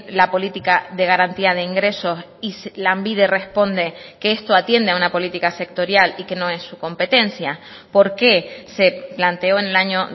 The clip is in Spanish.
la política de garantía de ingresos y lanbide responde que esto atiende a una política sectorial y que no es su competencia por qué se planteó en el año